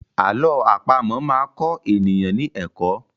Àlọ́ àpamọ̀ máa kọ èèyàn ní ẹ̀kọ́.